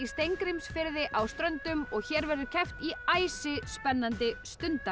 Steingrímsfirði á Ströndum og hér verður keppt í æsispennandi